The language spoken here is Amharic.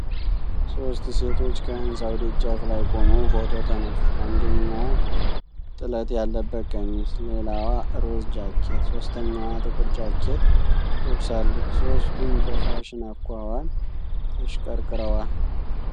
ሦስት ሴቶች ከህንጻው ደጃፍ ላይ ቆመው ፎቶ ተነሱ። አንደኛዋ ጥለት ያለበት ቀሚስ፣ ሌላዋ ሮዝ ጃኬት፣ ሦስተኛዋ ጥቁር ጃኬት ለብሳለች። ሦስቱም በፋሽን አኳኋን ተሽቀርቅረዋል።